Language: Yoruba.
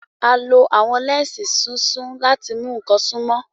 A lo awọn lẹnsi sísun lati mu awọn nkan sunmọ.